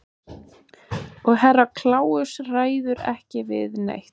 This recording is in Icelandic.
Og Herra Kláus ræður ekki við neitt.